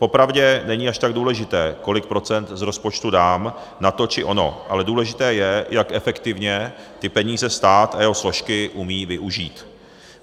Popravdě není až tak důležité, kolik procent z rozpočtu dám na to či ono, ale důležité je, jak efektivně ty peníze stát a jeho složky umí využít.